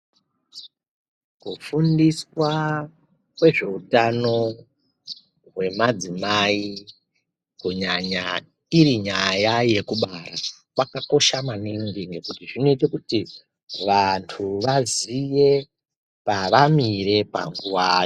Kufundiswa kwezveutano hwemadzimai kunyanya irinyaya yekubara. Kwakakosha maningi ngekuti zvinoita kuti vantu vaziye pavamire panguva.